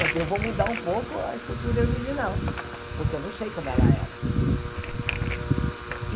Quer dizer, eu vou mudar um pouco a escultura original, porque eu não sei como ela era.